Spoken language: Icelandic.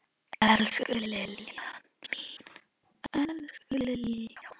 Elsku Liljan mín.